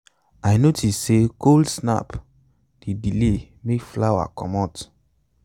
i notice say cold snap dey delay make flower commot